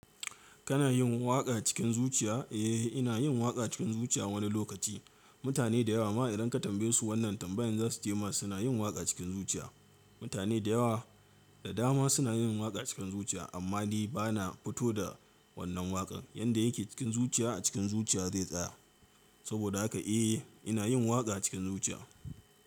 Kana yin waƙa cikin zuciya? Eh, ina yin waƙa cikin zuciya wani lokaci. Mutane da yawa ma idan ka tambaye su wannan tambayan za su ce ma suna yin waƙa cikin zuciya. Mutane da yawa da dama suna yin waƙa cikin zuciya, amma ni ba na fito da wannan waƙan. Yanda yake cikin zuciya a cikin zuciya zai tsaya. Saboda haka eh, ina yin waƙa cikin zuciya.